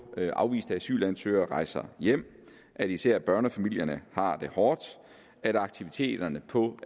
afviste asylansøgere rejser hjem at især børnefamilierne har det hårdt og at aktiviteterne på